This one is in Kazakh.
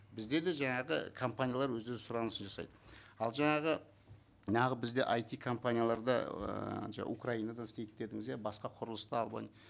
бізде де жаңағы компаниялар өздері сұранысын жасайды ал жаңағы бізде айти компанияларда ыыы украинадан істейді дедіңіз иә басқа құрылыста